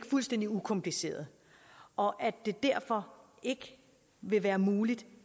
fuldstændig ukompliceret og at det derfor ikke vil være muligt